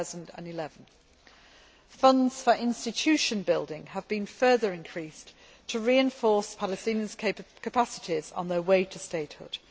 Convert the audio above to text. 2011. Funds for institution building have been further increased to reinforce Palestinian capacities on their way to statehood.